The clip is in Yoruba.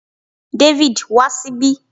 David, wa síbí